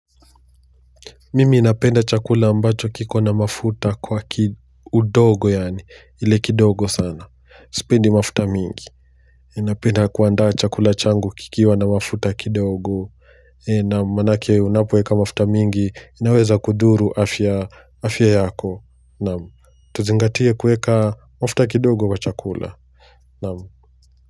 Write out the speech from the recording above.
Mimi napenda chakula ambacho kiko na mafuta kwa kidogo yaani, ile kidogo sana. Sipendi mafuta mingi. Ninapenda kuandaa chakula changu kikiwa na mafuta kidogo. Ee. Naam, maanake unapoeka mafuta mingi, inaweza kudhuru afya, afya yako. Naam, tuzingatie kuweka mafuta kidogo kwa chakula. Naam.